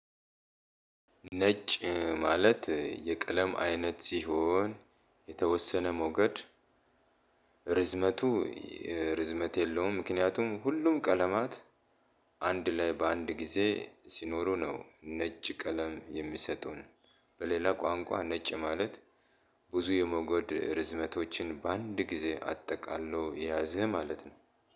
ነጭ ማለት የቀለም አይነት ሲሆን የተወሰነ ሞገድ ርዝመቱ ርዝመት የለውም ምክንያቱም ሁሉም ቀለማት። አንድ ላይ በአንድ ጊዜ ሲኖሩ ነው ነጭ ቀለም የሚሰጡን። በሌላ ቋንቋ ነጭ ማለት ብዙ የመጎድ ርዝመቶችን በአንድ ጊዜ አጠቃሎ የያዘ ማለት ነው።